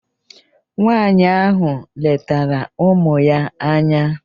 Nwaanyị ahụ letara ụmụ ya anya.